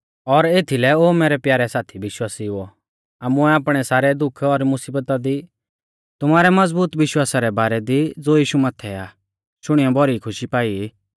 और एथीलै ओ मैरै प्यारै साथी विश्वासिउओ आमुऐ आपणै सारै दुख और मुसीबता दी तुमारै मज़बूत विश्वासा रै बारै दी ज़ो यीशु माथै आ शुणीयौ भौरी खुशी पाई